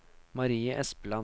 Marie Espeland